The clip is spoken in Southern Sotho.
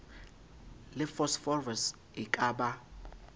le phosphorus e ka ba